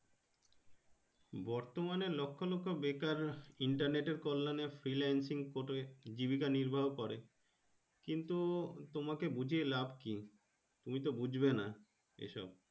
বর্তমানে লক্ষ লক্ষ বেকার Internet এর কল্যানে freelancing করে জীবিকা নিরবহন করে কিন্তু তোমাকে বুজিয়ে লাভ কি তুমি তো বুজবে না এসব।